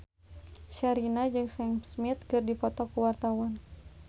Sherina jeung Sam Smith keur dipoto ku wartawan